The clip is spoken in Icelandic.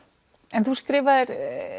en þú skrifaðir